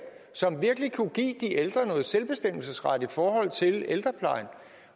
som virkelig kunne give de ældre noget selvbestemmelsesret i forhold til ældreplejen